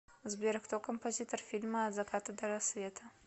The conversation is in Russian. сбер кто композитор фильма от заката до рассвета